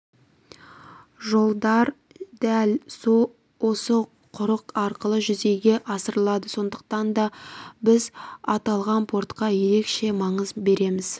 жолдар дәл осы құрық арқылы жүзеге асырылады сондықтан да біз аталған портқа ерекше маңыз береміз